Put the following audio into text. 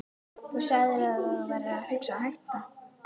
Þú sagðir að þú værir að hugsa um að hætta.